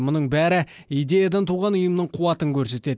мұның бәрі идеядан туған ұйымның қуатын көрсетеді